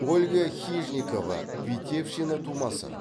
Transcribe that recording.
ольга хижникова витебщина тумасы